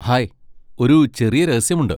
Hi, ഒരു ചെറിയ രഹസ്യമുണ്ട്.